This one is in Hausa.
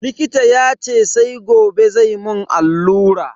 Likita yace sai gobe zai mun allura.